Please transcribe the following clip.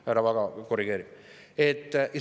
Härra Vaga korrigeerib.